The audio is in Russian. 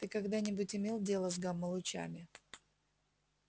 ты когда-нибудь имел дело с гамма-лучами